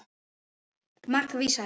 Margs vísari.